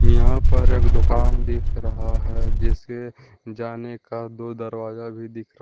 यहां पर एक दुकान दिख रहा है। जिससे जाने का दो दरवाजा भी दिख रहा--